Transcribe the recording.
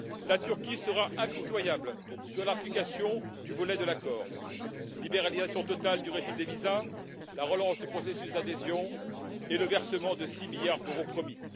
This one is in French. La Turquie sera impitoyable sur l'application des volets de l'accord qui prévoient la libéralisation totale du régime des visas, la relance du processus d'adhésion et le versement des 6 milliards d'euros promis.